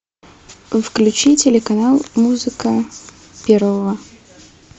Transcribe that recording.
включи телеканал музыка первого